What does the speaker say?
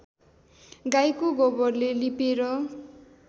गाईको गोबरले लिपेर